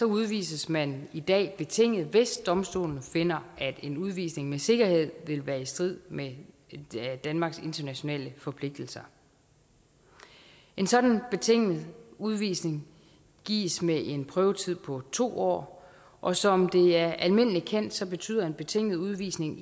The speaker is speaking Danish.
udvises man i dag betinget hvis domstolen finder at en udvisning med sikkerhed vil være i strid med danmarks internationale forpligtelser en sådan betinget udvisning gives med en prøvetid på to år og som det er almindeligt kendt betyder en betinget udvisning